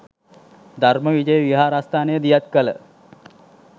ධර්ම විජය විහාරස්ථානය දියත් කළ